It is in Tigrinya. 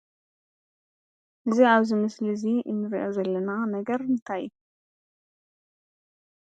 እዚ ኣብዚ ምስሊ እዙይ እንርእዮ ዘለና ነገር እንታይ እዩ?